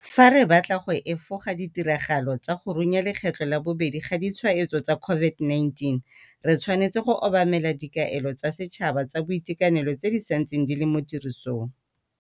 Fa re batla go efoga ditiragalo tsa go runya lekgetlo la bobedi ga ditshwaetso tsa COVID-19, re tshwanetse go obamela dikaelo tsa setšhaba tsa boitekanelo tse di santseng di le mo tirisong.